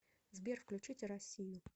сбер включите россию